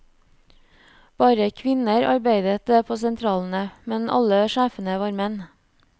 Bare kvinner arbeidet på sentralene, men alle sjefene var menn.